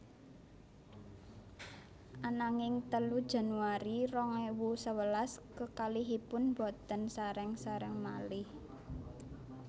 Ananging telu Januari rong ewu sewelas kekalihipun boten sareng sareng malih